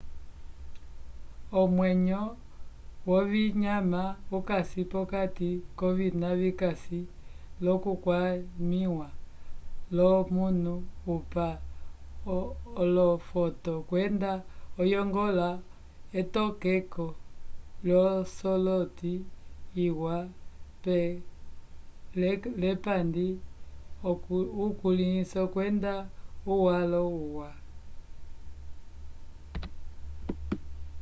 omwenyo wovinyama ukasi p'okati kwovina vikasi l'okukwamĩwa l'omunu opa olofoto kwenda oyongola etokeko l'osoloti liwa l'epandi ukulĩso kwenda uwalo uwa